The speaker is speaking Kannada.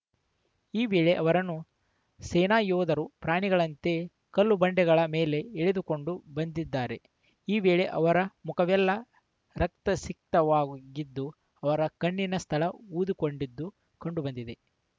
ಈ ವೇಳೆ ಅವರನ್ನು ಸೇನಾ ಯೋಧರು ಪ್ರಾಣಿಗಳಂತೆ ಕಲ್ಲುಬಂಡೆಗಳ ಮೇಲೇ ಎಳೆದುಕೊಂಡು ಬಂದಿದ್ದಾರೆ ಈ ವೇಳೆ ಅವರ ಮುಖವೆಲ್ಲಾ ರಕ್ತ ಸಿಕ್ತ ವಾಗಿದ್ದು ಅವರ ಕಣ್ಣಿನ ಸ್ಥಳ ಊದಿ ಕೊಂಡಿದ್ದು ಕಂಡುಬಂದಿದೆ